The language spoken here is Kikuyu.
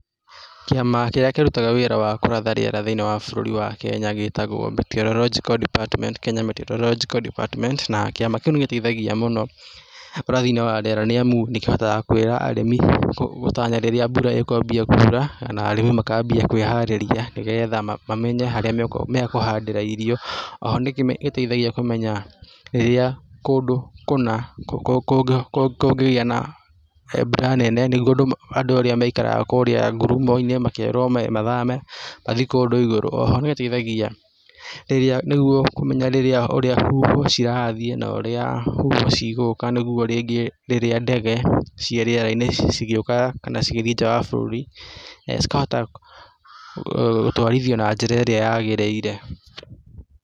Kĩama kĩrĩa kĩritaga wĩra wa kũratha rĩera thĩinĩ wa bũrũri wa Kenya gĩtagwo meteorological department Kenya meteorological department na kĩama kĩu nĩ gũteithagia mũno ũrathi-inĩ wa rĩera nĩ amu nĩkĩhotaga kwĩra arĩmi gũtanya rĩrĩa mbura ekwambia kura, arĩmi makwambia kwĩharĩria nĩgetha mamenye haria mekũhandĩra irio oho nĩgĩteithagia kũmenya rĩrĩa kũndũ kũna kũngĩgĩa na mbura nene niguo andũ arĩa maikaraga kũrĩa ngurumo-inĩ makerwo mathame mathiĩ kũndũ igũrũ, oho nĩgĩteithagia rĩrĩa niguo kũmenya ũrĩa rĩrĩa huho cirathiĩ na ũrĩa huho cigũka nĩguo rĩngĩ rĩrĩa ndege ciĩ rĩera-inĩ cigĩũka kana cigĩthiĩ nja wa bũrũri cikahota gũtwarithio na njĩra ĩrĩa yagĩrĩire.